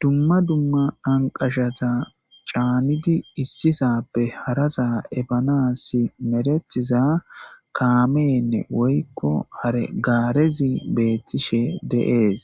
Dumma dumma anqashata caannidi issisappe harasa ebana si merethiza kaameenne woykko haregaarezi beethtishe deees